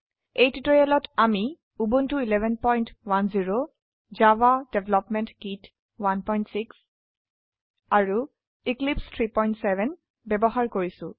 এই টিউটোৰিয়েলত আমি উবুন্টু 1110 জাভা ডেভেলপমেন্ট কিট 16 আৰু এক্লিপছে 37 ব্যবহাৰ কৰিছো